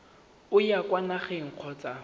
o ya kwa nageng kgotsa